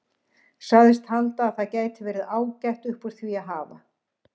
Sagðist halda að það gæti verið ágætt upp úr því að hafa.